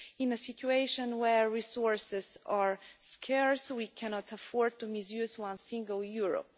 In a situation where resources are scarce we cannot afford to misuse one single euro.